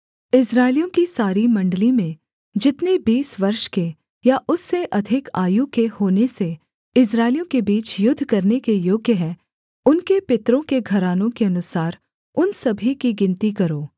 इस्राएलियों की सारी मण्डली में जितने बीस वर्ष के या उससे अधिक आयु के होने से इस्राएलियों के बीच युद्ध करने के योग्य हैं उनके पितरों के घरानों के अनुसार उन सभी की गिनती करो